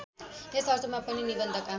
यस अर्थमा पनि निबन्धका